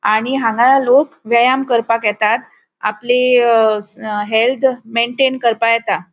आणि हांगा लोक व्यायाम करपाक येतात आपली अ हेल्थ मैन्टैन करपाक येता.